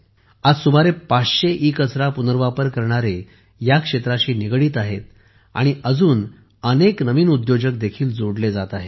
आज सुमारे 500 ईकचरा पुनर्वापर करणारे या क्षेत्राशी निगडित आहेत आणि अजून अनेक नवीन उद्योजक देखील जोडले जात आहेत